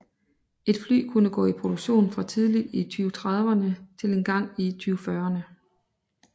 Et fly kunne gå i produktion fra tidligt i 2030erne til engang i 2040erne